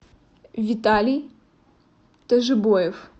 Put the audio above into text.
виталий тажибоев